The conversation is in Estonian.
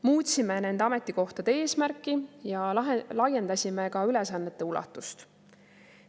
Muutsime nende ametikohtade eesmärki ja laiendasime ka ülesannete ulatust.